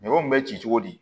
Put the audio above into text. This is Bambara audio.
Ɲamaw bɛ ci cogo di